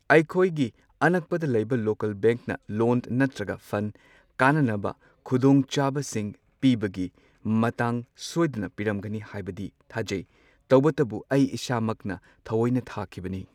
ꯑꯩꯈꯣꯏꯒꯤ ꯑꯅꯛꯄꯗ ꯂꯩꯕ ꯂꯣꯀꯦꯜ ꯕꯦꯡꯛꯅ ꯂꯣꯟ ꯅꯠꯇ꯭ꯔꯒ ꯐꯟ ꯀꯥꯟꯅꯅꯕ ꯈꯨꯗꯣꯡ ꯆꯥꯕꯁꯤꯡ ꯄꯤꯕꯒꯤ ꯃꯇꯥꯡ ꯁꯣꯏꯗꯅ ꯄꯤꯔꯝꯒꯅꯤ ꯍꯥꯏꯕꯗꯤ ꯊꯥꯖꯩ, ꯇꯧꯕꯗꯕꯨ ꯑꯩ ꯏꯁꯥ ꯃꯛꯅ ꯊꯋꯣꯏꯅ ꯊꯥꯈꯤꯕꯅꯤ꯫